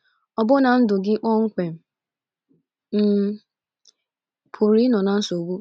— ọbụna ndụ gị kpọmkwem — um pụrụ ịnọ na nsogbu.